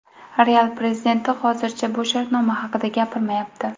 Real prezidenti hozircha bu shartnoma haqida gapirmayapti.